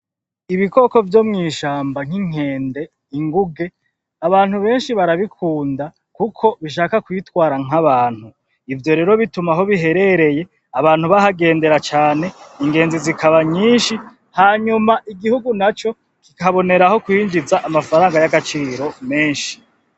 Ibikoko vyo mwishamba nk'inkende, inguge abantu beshi barabikunda kuko bishaka kwitwara nk'abantu ivyo rero bituma aho biherereye abantu bahagendera cane ,Ingenzi zikaba nyishi hanyuma igihugu naco kiboneraho kwinjiza amafaranga yagaciro meshi